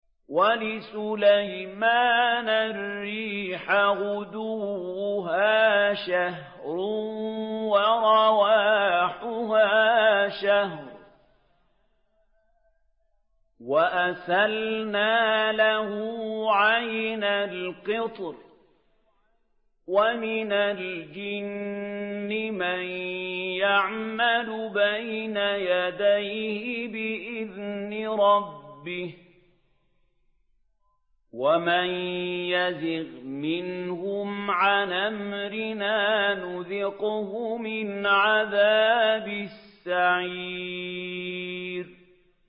وَلِسُلَيْمَانَ الرِّيحَ غُدُوُّهَا شَهْرٌ وَرَوَاحُهَا شَهْرٌ ۖ وَأَسَلْنَا لَهُ عَيْنَ الْقِطْرِ ۖ وَمِنَ الْجِنِّ مَن يَعْمَلُ بَيْنَ يَدَيْهِ بِإِذْنِ رَبِّهِ ۖ وَمَن يَزِغْ مِنْهُمْ عَنْ أَمْرِنَا نُذِقْهُ مِنْ عَذَابِ السَّعِيرِ